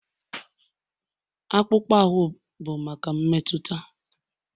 Akpụkpọ ahụ bụ maka mmetụta